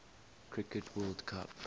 cricket world cup